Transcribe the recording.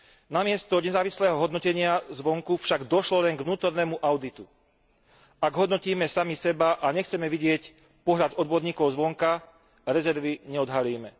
Namiesto nezávislého hodnotenia zvonku však došlo len k vnútornému auditu. Ak hodnotíme sami seba a nechceme vidieť pohľad odborníkov zvonka, rezervy neodhalíme.